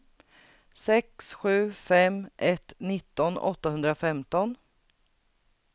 sex sju fem ett nitton åttahundrafemton